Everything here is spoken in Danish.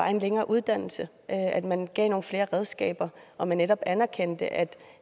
er en længere uddannelse at man gav dem nogle flere redskaber og netop anerkendte at de